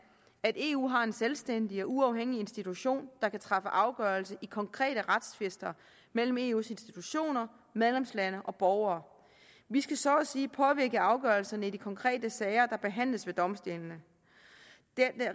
at eu har en selvstændig og uafhængig institution der kan træffe afgørelse i konkrete retstvister mellem eus institutioner medlemslande og borgere vi skal så at sige påvirke afgørelserne i de konkrete sager der behandles ved domstolen